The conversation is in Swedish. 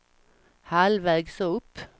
halvvägs upp